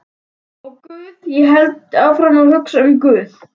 Og guð, ég hélt áfram að hugsa um guð.